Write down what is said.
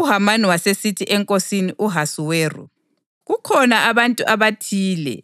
UHamani wasesithi eNkosini u-Ahasuweru, “Kukhona abantu abathile